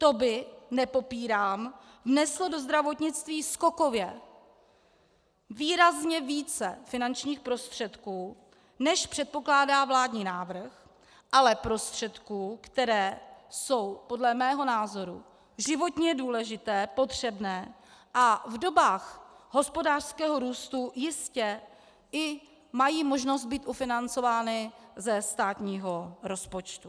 To by, nepopírám, vneslo do zdravotnictví skokově výrazně více finančních prostředků, než předpokládá vládní návrh, ale prostředků, které jsou podle mého názoru životně důležité, potřebné a v dobách hospodářského růstu jistě i mají možnost být ufinancovány ze státního rozpočtu.